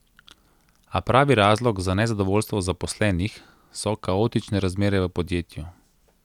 A pravi razlog za nezadovoljstvo zaposlenih so kaotične razmere v podjetju.